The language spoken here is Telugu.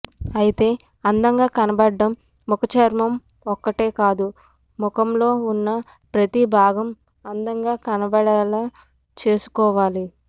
అయితే అందంగా కనబడం ముఖ చర్మ ఒక్కటే కాదు ముఖంలో ఉన్న ప్రతి భాగం అందంగా కనబడేలా చూసుకోవాలి